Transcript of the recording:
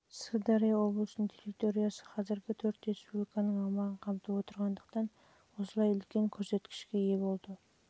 сырдария облысының территориясы қазіргі төрт республиканың аумағын қамтып отырғандықтан осылай үлкен көрсеткішке ие болды